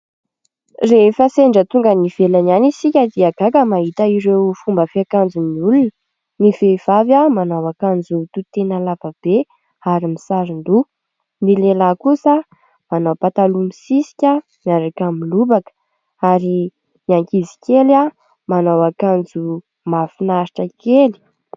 Rehefa sendra tonga any ivelany any isika dia gaga mahita ireo fomba fiakanjon'ny olona. Ny vehivavy manao akanjo tohitena lava be ary misaron-doha. Ny lehilahy kosa manao pataloha misisika miaraka amin'ny lobaka ary ny ankizikely manao akanjo mahafinaritra kely.